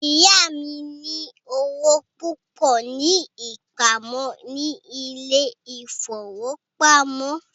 Ìyá mí ní owó púpọ ní ìpamọ́ ní ilé ìfọwọ́pamo.